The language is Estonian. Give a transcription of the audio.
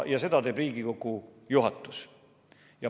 Seda teeb Riigikogu juhatus.